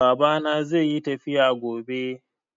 Babana zai yi tafiya gobe.